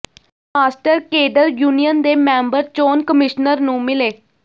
master cadre union ਦੇ member ਚੋਣ commissioner ਨੂੰ ਮਿਲੇ